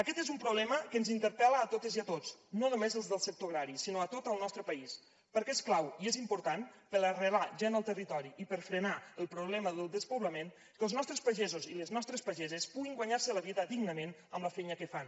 aquest és un problema que ens interpel·la a totes i a tots no només als del sector agrari sinó a tot el nostre país perquè és clau i és important per arrelar la gent al territori i per frenar el problema del despoblament que els nostres pagesos i les nostres pageses puguin guanyar se la vida dignament amb la feina que fan